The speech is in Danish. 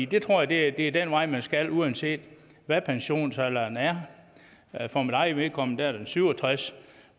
det tror jeg er den vej man skal gå uanset hvad pensionsalderen er er for mit eget vedkommende er den syv og tres